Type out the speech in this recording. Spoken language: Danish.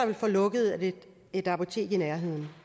vil få lukket et et apotek i nærheden